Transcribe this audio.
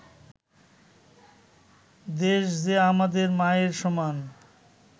দেশ যে আমাদের মায়ের সমান